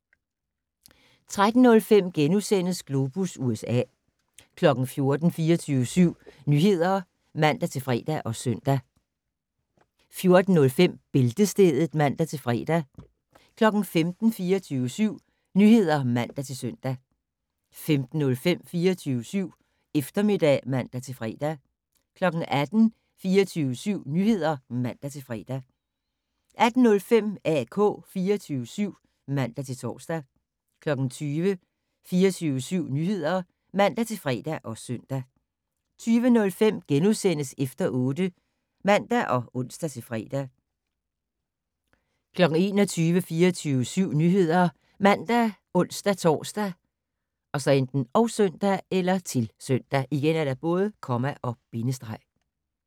13:05: Globus USA * 14:00: 24syv Nyheder (man-fre og søn) 14:05: Bæltestedet (man-fre) 15:00: 24syv Nyheder (man-søn) 15:05: 24syv Eftermiddag (man-fre) 18:00: 24syv Nyheder (man-fre) 18:05: AK 24syv (man-tor) 20:00: 24syv Nyheder (man-fre og søn) 20:05: Efter 8 *(man og ons-fre) 21:00: 24syv Nyheder ( man, ons-tor, -søn)